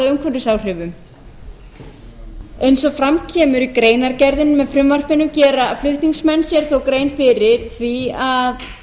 umhverfisáhrifum eins og fram kemur í greinargerðinni með frumvarpinu gera flutningsmenn sér þó grein fyrir því að